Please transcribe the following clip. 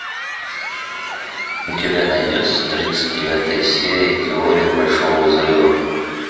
у тебя найдется тридцать девятая серия теория большого взрыва